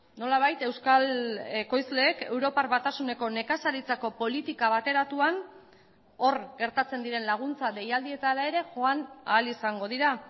nolabait euskal ekoizleek europar batasuneko nekazaritzako politika bateratuan hor gertatzen diren laguntza deialdietara ere joan ahal izango dira